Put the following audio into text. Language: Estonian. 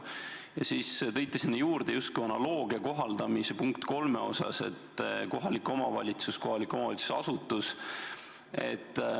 Ja siis te tõite sinna juurde justkui analoogilise kohaldamise punktiga 3, mis puudutab kohalikku omavalitsust, kohaliku omavalitsuse asutust.